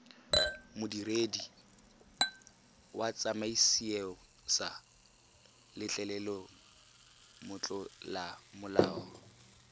modiredi wa tsamaisoeesa letleleleng motlolamolao